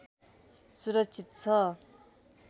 सुरक्षित छ